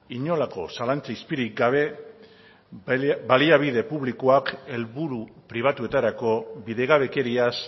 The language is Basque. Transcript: inolako zalantza izpirik gabe baliabide publikoak helburu pribatuetarako bidegabekeriaz